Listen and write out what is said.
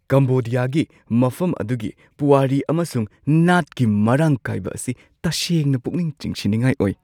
ꯀꯝꯕꯣꯗꯤꯌꯥꯒꯤ ꯃꯐꯝ ꯑꯗꯨꯒꯤ ꯄꯨꯋꯥꯔꯤ ꯑꯃꯁꯨꯡ ꯅꯥꯠꯀꯤ ꯃꯔꯥꯡ ꯀꯥꯏꯕ ꯑꯁꯤ ꯇꯁꯦꯡꯅ ꯄꯨꯛꯅꯤꯡ ꯆꯤꯡꯁꯤꯟꯅꯤꯡꯉꯥꯏ ꯑꯣꯏ꯫